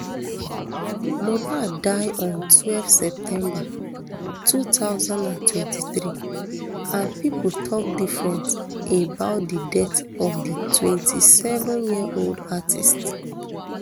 mohbad die on twelve september two thousand and twenty-three and pipo tok different about di death of di twenty-seven year old artiste